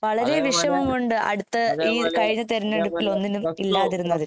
വളരെ വിഷമമുണ്ട് അടുത്ത് ഈ കഴിഞ്ഞ തിരെഞ്ഞെടുപ്പിൽ ഒന്നിനും ഇല്ലാതിരുന്നത്